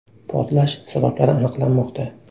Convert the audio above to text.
Portlash sabablari aniqlanmoqda.